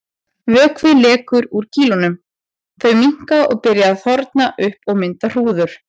Vökvi lekur úr kýlunum, þau minnka og byrja að þorna upp og mynda hrúður.